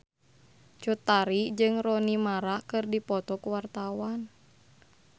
Cut Tari jeung Rooney Mara keur dipoto ku wartawan